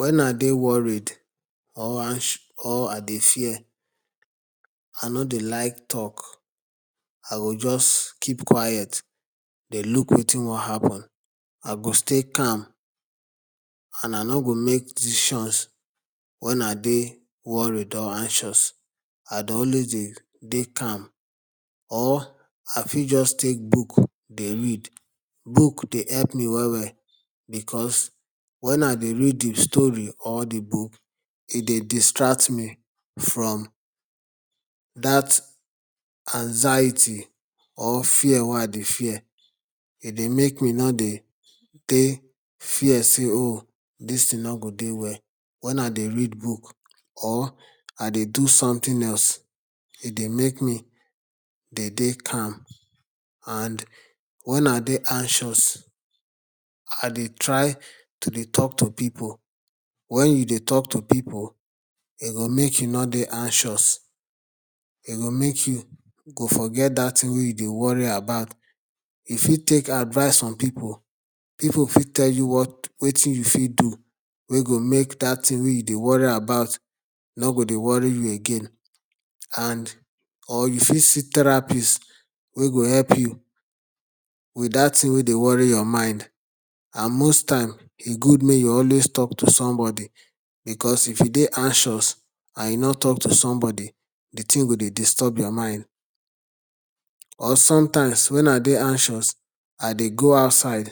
Wen I dey worried or or I dey fear, I no dey like talk, I go just keep quiet dey look wetin wan happen. I go stay calm and I no go make decisions wen I dey worried or anxious. I dey always dey dey calm or or I fit just take book dey read. Book dey help me well well because wen I dey read the story or the book, e dey distract me from dat anxiety or fear wey I dey fear. E dey make me no dey fear say, 'um dis thing no go dey well'. Wen I dey read book or I dey do something else, e dey make me dey dey calm and when I dey anxious I dey try to dey talk to people. Wen you dey talk to people, e go make you no dey anxious. E go make you go forget dat thing wey you dey worry about. You fit take advice from people. People fit tell you what, wetin you fit do wey go make dat thing wey you dey worry about no go dey worry you again and and or you fit see therapist wey go help you wit dat thing wey dey worry your mind and most time, e good make you always talk to somebody because if you dey anxious and you no talk to somebody, the thing go dey disturb your mind. Or sometimes wen I dey anxious, I dey go outside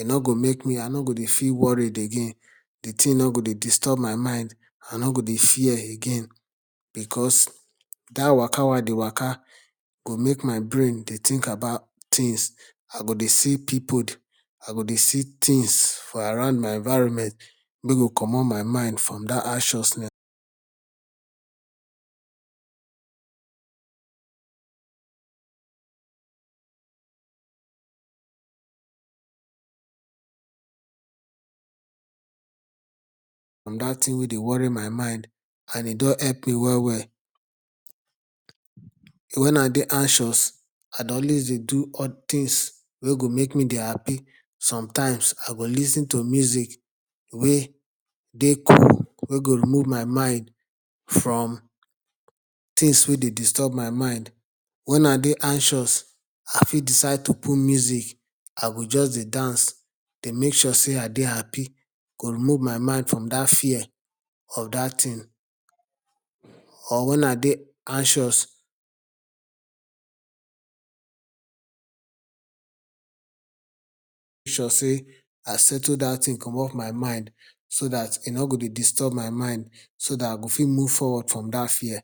E no go make me I no go dey feel worried again the thing no go dey disturb my mind. I no go dey fear again because dat waka wey I dey waka go make my brain dey think about things. I go dey see people, I go dey see things for around my environment wey go comot my mind from that from dat thing wey dey worry my mind and e don help me well well. wen I dey anxious, I dey always dey do odd things wey go make me dey happy. Sometimes I go lis ten to music wey dey cool wey go remove my mind from things wey dey disturb my mind. Wen I dey anxious I fit decide to put music I go just dey dance dey make sure say I dey happy go remove my mind from dat fear of dat thing or wen I dey anxious make sure say I settle dat thing comot my mind so dat e no go dey disturb my mind so dat I go fit move forward from dat fear.